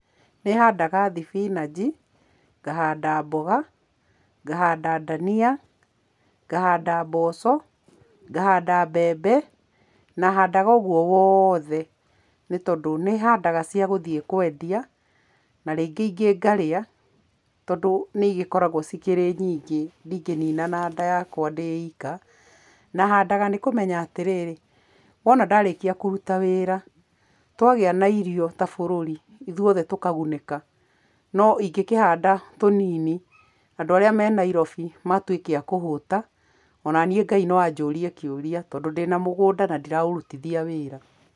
Nĩhandaga thibinaji, ngahanda mboga, ngahanda ndania, ngahanda mboco, ngahanda mbembe na handaga ũguo wothe nĩ tondũ nĩhandaga cia gũthiĩ kwendia na rĩngĩ ingĩ ngarĩa tondũ nĩcigĩkoragwo ciĩ nyingĩ ndingĩnina na nda yakwa ndĩ ika, na handaga nĩ kũmenya atĩrĩ, wona ndarĩkia kũruta wĩra wona tuona irio ta bũrũri ithuothe tũkagunĩka, no ingĩhanda tũnini andũ aria me Nairobi nimambĩrĩria kũhũta onanie ngai no anjũrie kĩũria tondũ ndĩna mũgũnda na ndiraũrutithia wĩra.